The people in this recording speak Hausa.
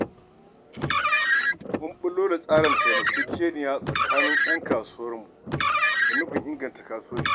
Mun ɓullo da tsarin taimakekeniya a tsakanin 'yan kasuwarmu, da nufin inganta kasuwanci.